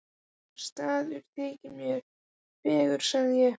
Enginn staður þykir mér fegurri sagði ég.